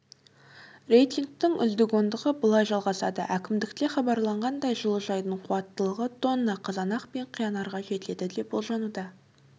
рейтингтің үздік ондығы былай жалғасады әкімдікте хабарлағандай жылыжайдың қуаттылығы тонна қызанақ пен қиярға жетеді деп болжануда